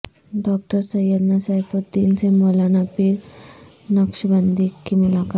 doctor Syedna Saifuddin سے مولانا پیر نقشبندی کی ملاقات